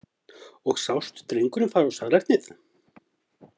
Og sást drenginn fara á salernið?